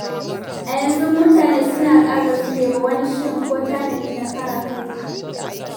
A yanzu mutane suna kara zube ba wani shiri ko tanadi na kare kai.